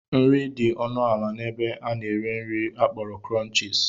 Nri dị ọnụ ala n'ebe a na-ere nri akpọrọ Krọnchis.